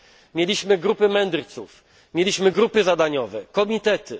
Mieliśmy grupy mędrców, mieliśmy grupy zadaniowe, komitety.